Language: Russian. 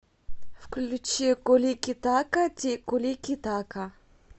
включи куликитака ти куликитака